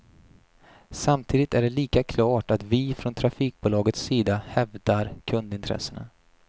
Samtidigt är det lika klart att vi från trafikbolagets sida hävdar kundintressena.